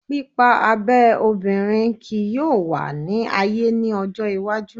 Pipa abe obinrin kii yoo wa ni aye ni ojo iwaju